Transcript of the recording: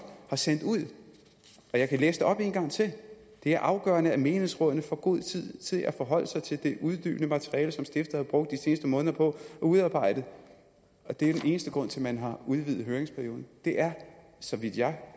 har sendt ud og jeg kan læse det op en gang til det er afgørende at menighedsrådene får god tid til at forholde sig til det uddybende materiale som stiftet har brugt de seneste måneder på at udarbejde den eneste grund til at man har udvidet høringsperioden er så vidt jeg